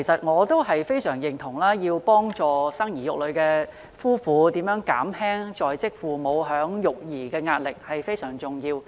我對此非常認同，因為幫助生兒育女的夫婦減輕在職父母的育兒壓力，是非常重要的。